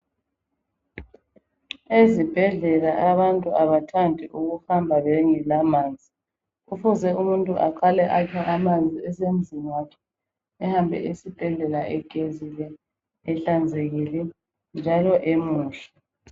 Ezibhedlela abantu abathandi ukuhamba bengela manzi, kufuze umuntu aqale akhe amanzi esemzini wakhe ehambe esibhedlela egezile ehlanzekile, njalo emuhle.